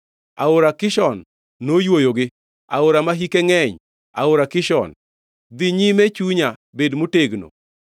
Aora Kishon noywoyogi, aora ma hike ngʼeny, aora Kishon. Dhi nyime, chunya; bed motegno!